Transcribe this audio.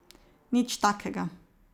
Nič takega.